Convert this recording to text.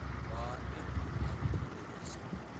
Waa in aad qubeysato.